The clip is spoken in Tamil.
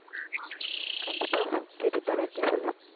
கண்டிப்பா கேட்டுட்டு தானே இருக்கேன் சொல்லு